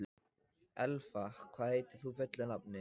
Elfa, hvað heitir þú fullu nafni?